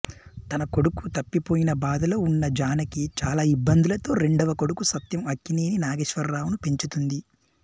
తన కొడుకు తప్పిపోయిన బాధలో ఉన్న జానకి చాలా ఇబ్బందులతో రెండవ కొడుకు సత్యం అక్కినేని నాగేశ్వరరావు ను పెంచుతుంది